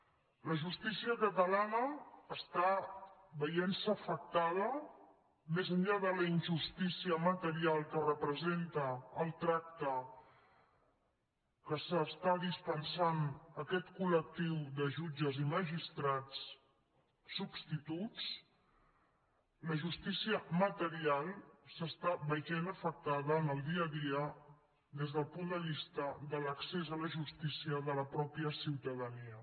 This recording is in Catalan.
la justícia catalana està veient se afectada més enllà de la injustícia material que representa el tracte que s’està dispensant a aquest col·lectiu de jutges i magistrats substituts la justícia material s’està veient afectada en el dia a dia des del punt de vista de l’accés a la justícia de la mateixa ciutadania